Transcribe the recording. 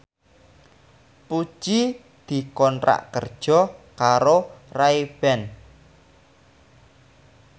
Puji dikontrak kerja karo Ray Ban